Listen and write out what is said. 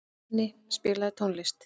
Berni, spilaðu tónlist.